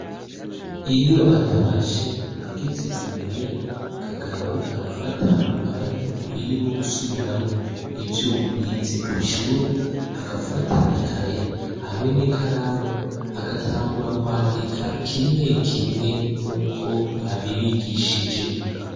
Iyo atashe ageze i muhira, Kagabo aragat umwanya ukwiye wo gusubiramwo ivyo bize kw'ishure, agafata ikaye hamwe n'ikaramu agatangura kwandika kimwe kimwe nuko babigishije.